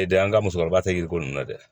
E de ye an ka musokɔrɔba tɛ yiriko ninnu na dɛ